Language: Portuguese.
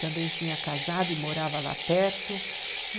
Também tinha casado e morava lá perto.